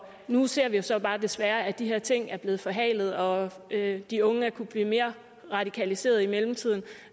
nu ser vi jo så bare desværre at de her ting er blevet forhalet og at de unge har kunnet blive mere radikaliseret i mellemtiden